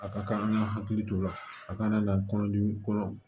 A ka kan an ka hakili to o la a ka na kɔnɔdimi kolo